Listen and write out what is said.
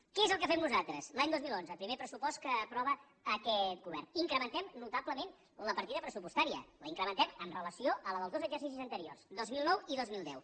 què és el que fem nosaltres l’any dos mil onze primer pressupost que aprova aquest govern incrementem notablement la partida pressupostària l’incrementem amb relació a la dels dos exercicis anteriors dos mil nou i dos mil deu